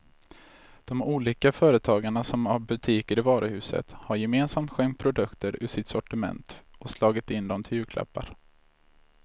De olika företagarna som har butiker i varuhuset har gemensamt skänkt produkter ur sitt sortiment och slagit in dem till julklappar.